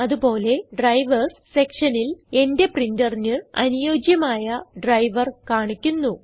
അത് പോലെ ഡ്രൈവർസ് സെക്ഷനിൽ എന്റെ പ്രിന്ററിന് അനുയോജ്യമായ ഡ്രൈവർ കാണിക്കുന്നു